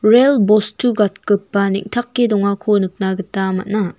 rel bostu gatgipa neng·take dongako nikna gita man·a.